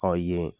Ɔ yen